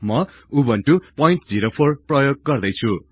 म उबुन्टु ०४ प्रयोग गर्दै छु